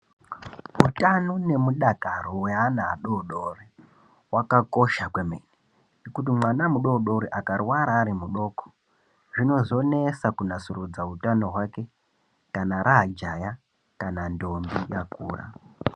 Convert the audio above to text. Utano nemu dakaro we ana adodori hwaka kosha kwemene kuti mwana mudodori aka rwara ari mudoko zvinozo netsa ku nasurudza utano hwake kana ra jaha kana ndombi yakura.